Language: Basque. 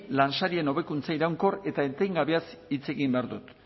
lansarien hobekuntza iraunkor eta etengabeaz hitz egin behar dut